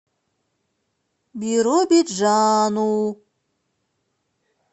биробиджану